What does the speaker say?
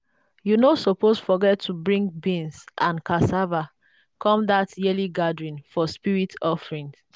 you no suppose forget to bring beans and cassava come that yearly gathering for spirit offering.